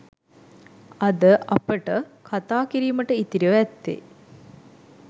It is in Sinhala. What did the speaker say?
අද අපට කතා කිරීමට ඉතිරිව ඇත්තේ